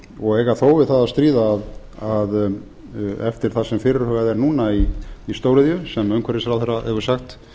og eiga þó við það að stríða að eftir það sem fyrirhugað er núna í stóriðju sem umhverfisráðherra hefur sagt